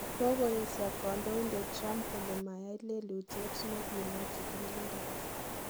Kogoesio kondoindet Trump kole mayaai lelutiet nengimwaa chigilindet.